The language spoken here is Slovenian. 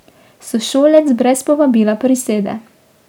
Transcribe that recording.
Sošolec brez povabila prisede.